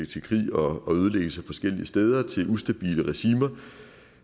til krig og ødelæggelse forskellige steder og ustabile regimer